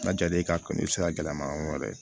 N'a jal'i ka kɔni i bɛ se ka gɛlɛma yɔrɔ wɛrɛ